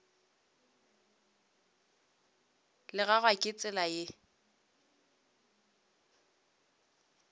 la gagwe ke tsela ye